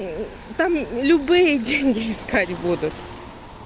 там любые деньги ха-ха-ха искать будут